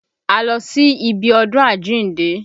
A lọ sí ibi ọdún àjíǹde